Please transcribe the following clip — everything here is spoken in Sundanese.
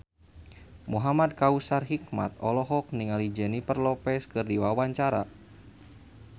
Muhamad Kautsar Hikmat olohok ningali Jennifer Lopez keur diwawancara